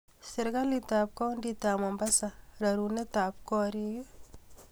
Serikalitab kauntitab Mombasa rarunetab korik?